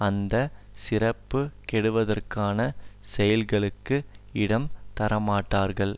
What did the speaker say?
அந்த சிறப்பு கெடுவதற்கான செயல்களுக்கு இடம் தரமாட்டார்கள்